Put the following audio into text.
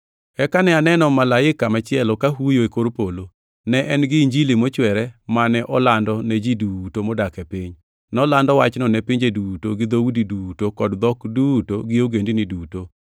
Eka ne aneno malaika machielo ka huyo e kor polo. Ne en gi Injili mochwere mane olando ne ji duto modak e piny, nolando wachno ne pinje duto, gi dhoudi duto kod dhok duto gi ogendini duto.